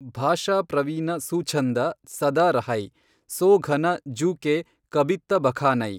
ಭಾಷಾ ಪ್ರವೀನ ಸುಛಂದ ಸದಾ ರಹೈ ಸೋ ಘನ ಜೂ ಕೇ ಕಬಿತ್ತ ಬಖಾನೈ।